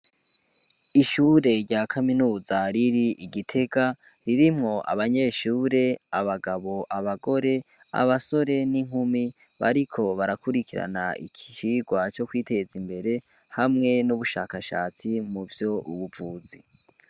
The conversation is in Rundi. Ishure rya kaminuza riri i Gitega, ririmwo abanyeshure abagabo, abagore ,abasore n'inkumi bariko barakurikira icigwa co kw'iteza imbere hamwe n'ubushakashatsi muvy'ubuvuzi.